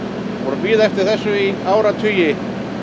bíða eftir þessu í áratugi